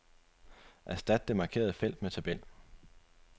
Erstat det markerede felt med tabel.